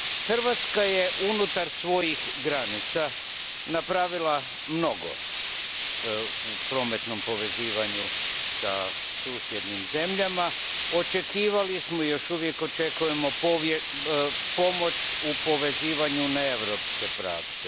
Hrvatska je unutar svojih granica napravila mnogo u prometnom povezivanju sa susjednim zemljama, očekivali smo i još uvijek očekujemo pomoć u povezivanju na europske pravce.